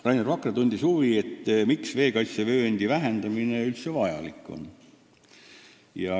Rainer Vakra tundis huvi, miks siiski veekaitsevööndi vähendamine vajalik on.